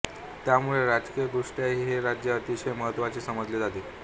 त्यामुळे राजकीयदृष्ट्याही हे राज्य अतिशय महत्त्वाचे समजले जाते